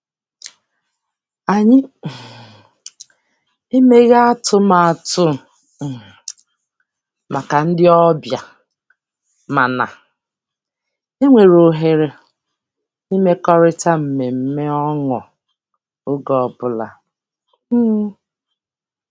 Anyị um emeghị atụmatụ um maka ndị obịa, mana e nwere ohere imekọrịta mmemme ọnụ oge ọbụla. um